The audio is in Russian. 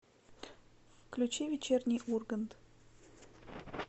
включи вечерний ургант